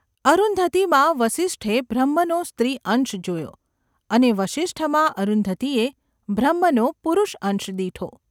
અરુંધતીમાં વસિષ્ઠે બ્રહ્મનો સ્ત્રીઅંશ જોયો અને વસિષ્ઠમાં અરુંધતીએ બ્રહ્મનો પુરુષઅંશ દીઠો.